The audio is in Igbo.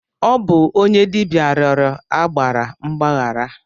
Ọ bụ onye dibịa rịọrọ agbara mgbaghara.